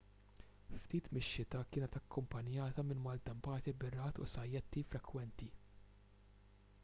ftit mix-xita kienet akkumpanjata minn maltempati bir-ragħad u sajjetti frekwenti